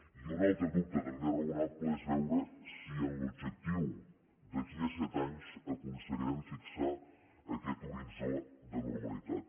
i un altre dubte també raonable és veure si en l’objectiu d’aquí a set anys aconseguirem fixar aquest horitzó de normalitat